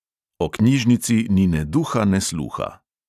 O knjižnici ni ne duha ne sluha.